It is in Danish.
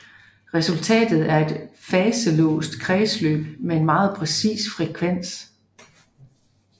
Resultatet er et faselåst kredsløb med en meget præcis frekvens